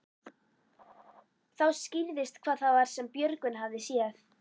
Þá skýrðist hvað það var sem Björgvin hafði séð.